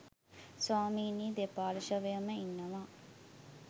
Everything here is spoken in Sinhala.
ස්වාමිනී දෙපාර්ශ්වයම ඉන්නවා